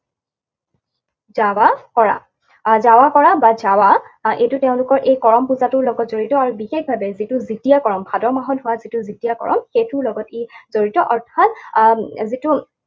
দাৱা কৰা। আৰু দাৱা কৰা বা ছাৱা, আৰু এইটো তেওঁলোকৰ এই কৰম পূজাটোৰ লগত জড়িত আৰু বিশেষভাৱে যিটো দ্বিতীয়া কৰম, ভাদ মাহত হোৱা যিটো দ্বিতীয়া কৰম, সেইটোৰ লগত ই জড়িত। অৰ্থাৎ আহ যিটো